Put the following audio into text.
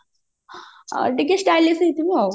ଟିକେ stylish ହେଇଥିବ ଆଉ